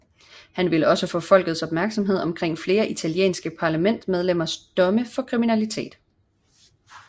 Han vil også få folkets opmærksomhed omkring flere italienske parlamentsmedlemmers domme for kriminalitet